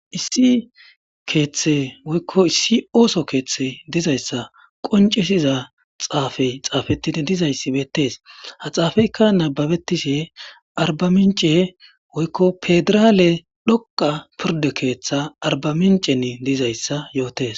Issi kethe woyiko issi osso kethe dizayissa qoncisiza xafeyi xafeti dizayissi bettesi ha xafeyikka nababetishe aribamice woyiko pedirale dhoqa ketha aribamice dizayisa yotesi